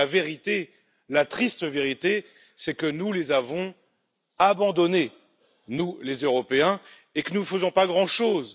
Mais la vérité, la triste vérité, c'est que nous les avons abandonnés, nous les Européens, et que nous ne faisons pas grand chose.